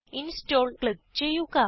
install click ചെയ്യുക